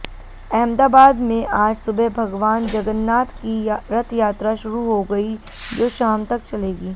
अहमदाबाद में आज सुबह भगवान जगन्नाथ की रथयात्रा शुरु हो गई जो शाम तक चलेगी